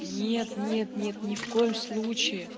нет нет нет ни в коем случае